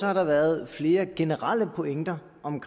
har der været flere generelle pointer om